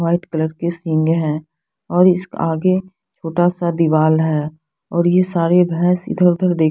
white colour के सींगें है और इस क आगे छोटा सा दिवाल है और ये सारे भैंस इधर उधर देख--